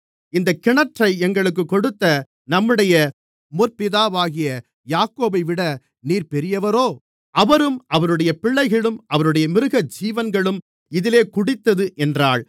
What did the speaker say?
இந்தக் கிணற்றை எங்களுக்குக் கொடுத்த நம்முடைய முற்பிதாவாகிய யாக்கோபைவிட நீர் பெரியவரோ அவரும் அவருடைய பிள்ளைகளும் அவருடைய மிருகஜீவன்களும் இதிலே குடித்தது என்றாள்